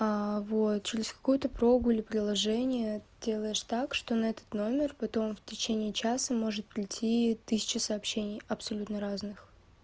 вот через какую-то прогу или приложение делаешь так что на этот номер потом в течение часа может прийти тысяча сообщений абсолютно разных